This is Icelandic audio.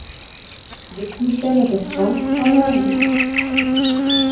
Vignir Benediktsson frá Njarðvík